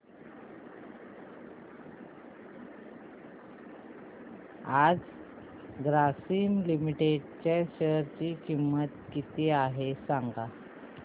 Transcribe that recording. आज ग्रासीम लिमिटेड च्या शेअर ची किंमत किती आहे सांगा